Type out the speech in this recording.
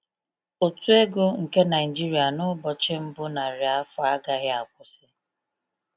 Ụtụ ego nke Naijiria n’ụbọchị mbụ narị afọ agahị akwụsị.